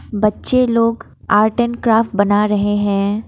बच्चे लोग art and craft बना रहे हैं ।